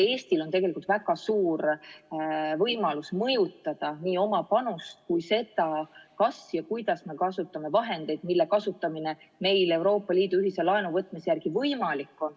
Eestil on tegelikult väga suur võimalus mõjutada nii oma panust kui ka seda, kas ja kuidas me kasutame vahendeid, mille kasutamine meil Euroopa Liidu ühise laenu võtmise järel võimalik on.